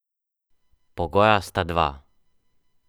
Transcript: Pogoja sta dva.